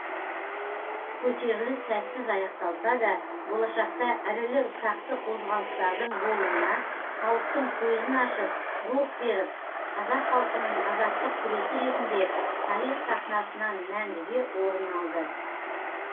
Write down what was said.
көтеріліс сәтсіз аяқталса да болашақта ірілі ұсақты қозғалыстардың болуына халықтың көзін ашып рух беріп қазақ халқының азаттық күресі ретінде тарих сахнасынан мәңгіге орын алды